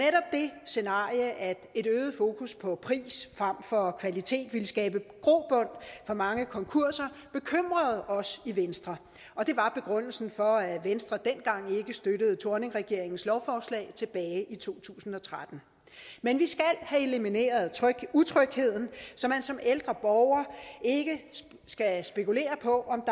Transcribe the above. scenarie at et øget fokus på pris frem for kvalitet ville skabe grobund for mange konkurser bekymrede os i venstre og det var begrundelsen for at venstre ikke støttede thorning schmidt regeringens lovforslag tilbage i to tusind og tretten men vi skal have elimineret utrygheden så man som ældre borger ikke skal spekulere på